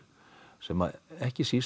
sem ekki síst